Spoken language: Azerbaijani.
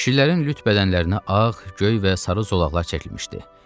Kişilərin lüt bədənlərinə ağ, göy və sarı zolaqlar çəkilmişdi.